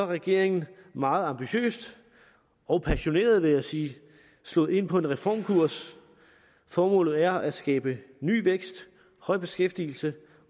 regeringen meget ambitiøst og passioneret vil jeg sige slået ind på en reformkurs formålet er at skabe ny vækst høj beskæftigelse